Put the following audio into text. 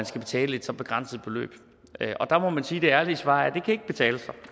skal betale et så begrænset beløb og der må man sige at det ærlige svar er det kan ikke betale sig